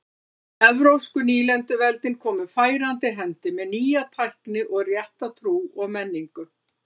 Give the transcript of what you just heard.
Evrópsku nýlenduveldin komu færandi hendi með nýja tækni og rétta trú og menningu.